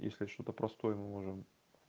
если что-то простое мы можем